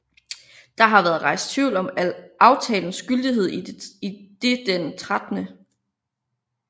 Der har været rejst tvivl om aftalens gyldighed idet den 13